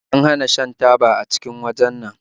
An hana shan taba a cikin wajen nan